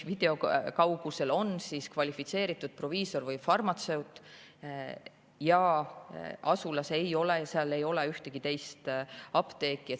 Video kaugusel on kvalifitseeritud proviisor või farmatseut, asulas aga ei ole ühtegi teist apteeki.